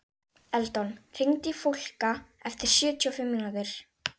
Eldon, hringdu í Fólka eftir sjötíu og fimm mínútur.